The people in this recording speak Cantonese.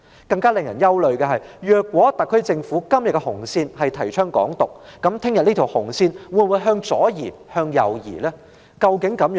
更令人憂慮的是，如果今天特區政府的紅線是提倡"港獨"，明天這條紅線又會否向左移或向右移？